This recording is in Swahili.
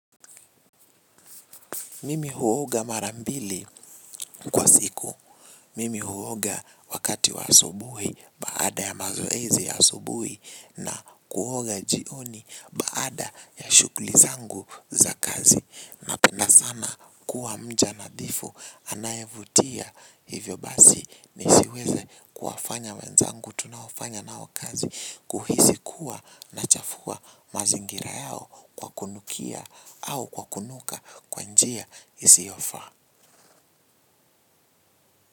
Mimi huoga mara mbili kwa siku. Mimi huoga wakati wa asubuhi baada ya mazoezi ya asubuhi na kuoga jioni baada ya shughuli zangu za kazi. Napenda sana kuwa mja nadhifu anayevutia hivyo basi nisiweze kuwafanya wenzangu tunaofanya nao kazi kuhisi kuwa nachafua mazingira yao kwa kunukia au kwa kunuka kwa njia isiyofaa.